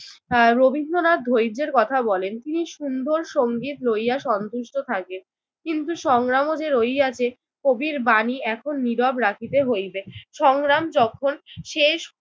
আহ রবীন্দ্রনাথ ধৈর্যের কথা বলেন। তিনি সুন্দর সংগীত লইয়া সন্তুষ্ট থাকেন কিন্তু সংগ্রামও যে রহিয়াছে। কবির বাণী এখন নীরব রাখিতে হইবে। সংগ্রাম যখন শেষ